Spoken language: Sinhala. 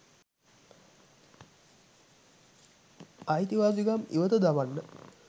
අයිතිවාසිකම් ඉවත දමන්න.